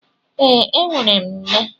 Ee e, enwere m nne.